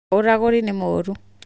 ũragũri nĩ mũũru